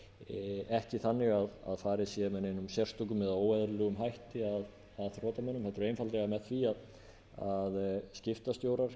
borga ekki þannig að farið sé með neinum sérstökum eða óeðlilegum hætti að þrotamönnum heldur einfaldlega með því að skiptastjórar